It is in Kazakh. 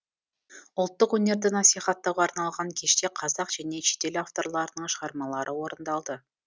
ұлттық өнерді насихаттауға арналған кеште қазақ және шетел авторларының шығармалары орындалды